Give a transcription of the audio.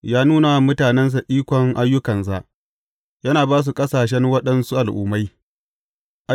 Ya nuna wa mutanensa ikon ayyukansa, yana ba su ƙasashen waɗansu al’ummai.